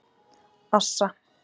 Assa